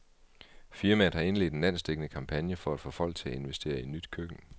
Firmaet har indledt en landsdækkende kampagne for at få folk til at investere i nyt køkken.